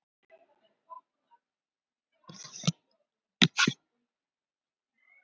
Egypskt myndletur lítur út eins og litlar myndir sem raðað er í lóðréttar raðir.